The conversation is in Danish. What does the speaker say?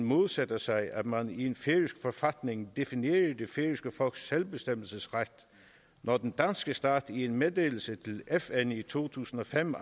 modsætter sig at man i en færøsk forfatning definerer det færøske folks selvbestemmelsesret når den danske stat i en meddelelse til fn i to tusind og fem